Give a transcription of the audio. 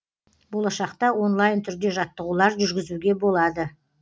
болашақта онлайн түрде жаттығулар жүргізуге болады